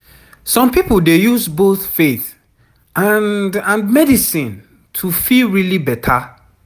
some people dey use both faith and and medicine to feel really beta